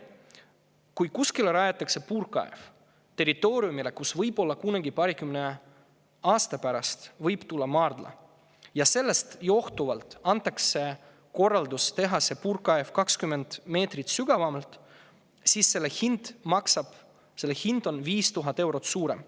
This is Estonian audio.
Kui puurkaev rajatakse territooriumile, kuhu võib kunagi paarikümne aasta pärast tulla maardla, ja sellest johtuvalt antakse korraldus teha see puurkaev 20 meetrit sügavam, siis selle hind on 5000 eurot suurem.